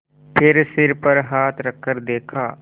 फिर सिर पर हाथ रखकर देखा